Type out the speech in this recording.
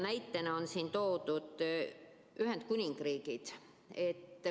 Näitena on siin toodud Ühendkuningriik.